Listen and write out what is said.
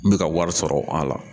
N bɛ ka wari sɔrɔ a la